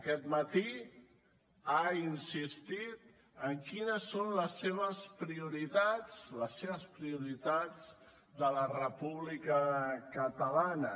aquest matí has insistit en quines són els seves prioritats les seves prioritats de la república catalana